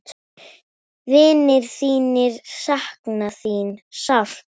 Vinir þínir sakna þín sárt.